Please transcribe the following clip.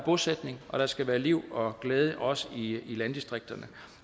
bosætning og der skal være liv og glæde også i landdistrikterne